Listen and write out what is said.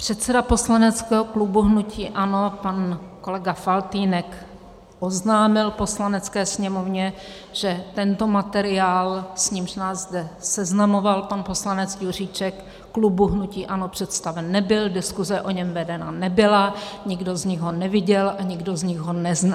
Předseda poslaneckého klubu hnutí ANO pan kolega Faltýnek oznámil Poslanecké sněmovně, že tento materiál, s nímž nás zde seznamoval pan poslanec Juříček, klubu hnutí ANO představen nebyl, diskuze o něm vedena nebyla, nikdo z nich ho neviděl a nikdo z nich ho nezná.